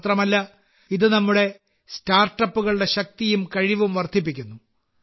മാത്രമല്ല ഇത് നമ്മുടെ സ്റ്റാർട്ടപ്പുകളുടെ ശക്തിയും കഴിവും വർദ്ധിപ്പിക്കുന്നു